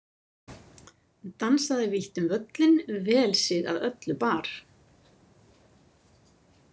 Dansaði vítt um völlinn vel sig að öllu bar.